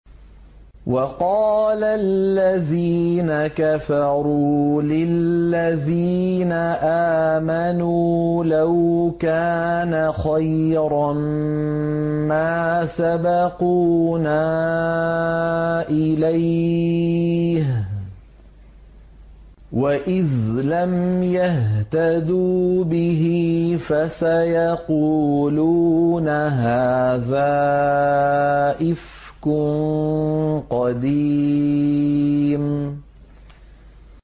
وَقَالَ الَّذِينَ كَفَرُوا لِلَّذِينَ آمَنُوا لَوْ كَانَ خَيْرًا مَّا سَبَقُونَا إِلَيْهِ ۚ وَإِذْ لَمْ يَهْتَدُوا بِهِ فَسَيَقُولُونَ هَٰذَا إِفْكٌ قَدِيمٌ